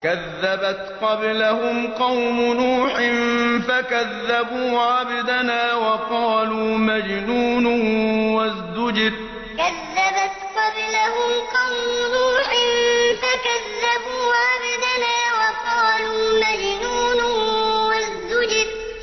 ۞ كَذَّبَتْ قَبْلَهُمْ قَوْمُ نُوحٍ فَكَذَّبُوا عَبْدَنَا وَقَالُوا مَجْنُونٌ وَازْدُجِرَ ۞ كَذَّبَتْ قَبْلَهُمْ قَوْمُ نُوحٍ فَكَذَّبُوا عَبْدَنَا وَقَالُوا مَجْنُونٌ وَازْدُجِرَ